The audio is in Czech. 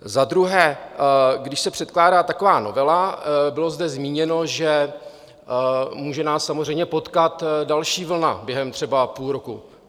Za druhé, když se předkládá taková novela, bylo zde zmíněno, že může nás samozřejmě potkat další vlna během třeba půl roku.